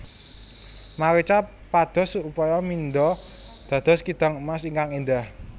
Marica pados upaya mindha dados kidang emas ingkang éndhah